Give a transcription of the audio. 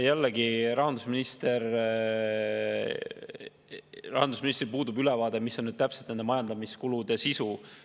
Jällegi, rahandusministril puudub ülevaade, mis on täpselt nende majandamiskulude sisu.